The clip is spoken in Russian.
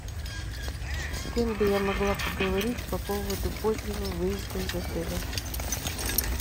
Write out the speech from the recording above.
с кем бы я могла поговорить по поводу позднего выезда из отеля